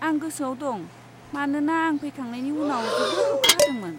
आं गोसोआव दं, मानोना आं फैखांनायनि उनाव जोबोद अखा हादोंमोन।